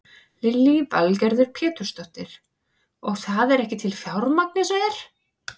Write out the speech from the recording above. Lillý Valgerður Pétursdóttir: Og það er ekki til fjármagn eins og er?